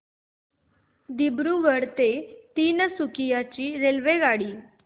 दिब्रुगढ ते तिनसुकिया ची रेल्वेगाडी